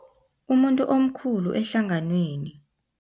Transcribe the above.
Umuntu omkhulu ehlanganweni.